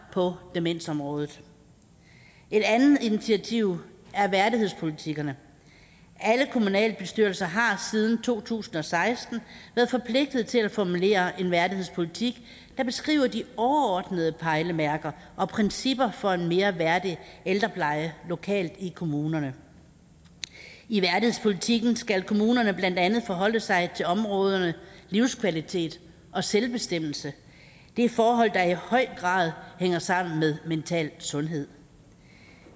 på demensområdet et andet initiativ er værdighedspolitikkerne alle kommunalbestyrelser har siden to tusind og seksten været forpligtet til at formulere en værdighedspolitik der beskriver de overordnede pejlemærker og principper for en mere værdig ældrepleje lokalt i kommunerne i værdighedspolitikken skal kommunerne blandt andet forholde sig til områderne livskvalitet og selvbestemmelse det er forhold der i høj grad hænger sammen med mental sundhed